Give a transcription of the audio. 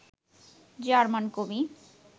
German কবি